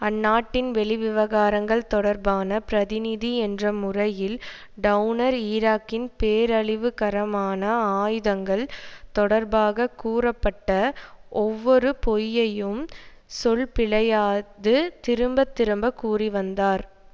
அந்நாட்டின் வெளிவிவகாரங்கள் தொடர்பான பிரதிநிதி என்ற முறையில் டெளனர் ஈராக்கின் பேரழிவுகரமான ஆயுதங்கள் தொடர்பாக கூறப்பட்ட ஒவ்வொரு பொய்யையும் சொல்பிழையாது திரும்ப திரும்ப கூறி வந்தார்